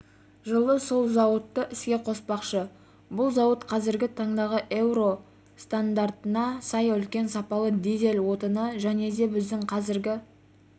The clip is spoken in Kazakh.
жылы сол зауытты іске қоспақшы бұл зауыт қазіргі таңдағы еуро еуро стандартына сай үлкен сапалы дизель отыны және де біздің қазіргі